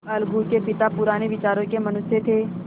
अलगू के पिता पुराने विचारों के मनुष्य थे